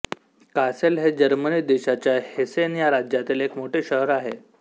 Kassel हे Germany देशाच्या Hessen ह्या राज्यातील एक मोठे शहर आहे